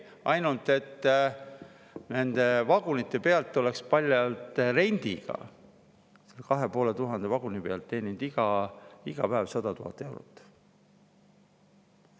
Ainult et nende vagunite pealt, selle 2500 vaguni pealt, oleks paljalt rendiga teeninud iga päev 100 000 eurot.